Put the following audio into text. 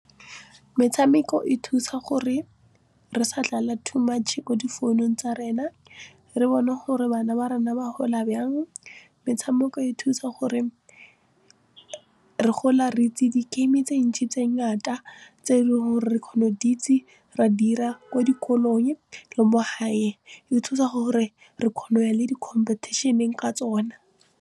Metshameko e thusa gore re sa too much mo difounung tsa rena, re bone gore bana ba rona ba gola byang, metshameko e thusa gore re gola re itse di-game tse ntsi tse ngaka tse dingwe gore re kgone go di itse ra dira ko dikolong le mo gae di thusa gore re kgone go ya le di-competition-eng ka tsona.